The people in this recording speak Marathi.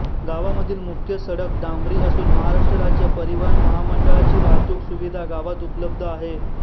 गावामधील मुख्य सडक डांबरी असून महाराष्ट्र राज्य परिवहन महामंडळाची वाहतूक सुविधा गावात उपलब्ध आहे